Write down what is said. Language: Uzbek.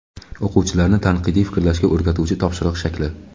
O‘quvchilarni tanqidiy fikrlashga o‘rgatuvchi topshiriq shakli.